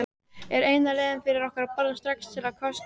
Er eina leiðin fyrir okkur að boða strax til kosninga?